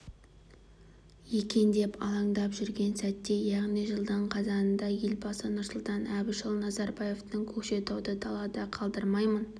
екен деп алаңдап жүрген сәтте яғни жылдың қазанында елбасы нұрсұлтан әбішұлы назарбаевтың көкшетауды далада қалдырмаймын